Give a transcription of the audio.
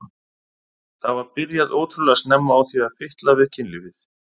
Það var byrjað ótrúlega snemma á því að fitla við kynlífið.